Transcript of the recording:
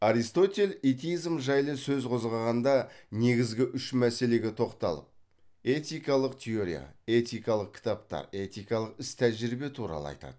аристотель этизм жайлы сөз қозғағанда негізгі үш мәселеге тоқталып этикалық теория этикалық кітаптар этикалық іс тәжірибе туралы айтады